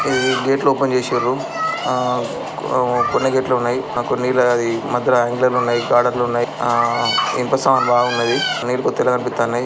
ఈ గేట్లు ఓపెన్ చేశిర్రు ఆహ్ అ కొన్ని గేట్లు ఉన్నయ్ ఆహ్ కొనీళ్ళు ఆది మద్యలో ఆంగ్లర్లు ఉన్నాయి బ్యాడర్లున్నాయి ఆహ్ ఇన్పసామాన్ బాగున్నయి నీరు కొద్దిగనే కనిపిత్తన్నాయ్.